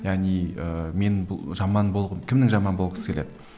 яғни ііі мен бұл жаман болғым кімнің жаман болғысы келеді